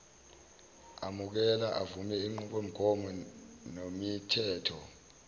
amukela avume izinqubomgomonemithetho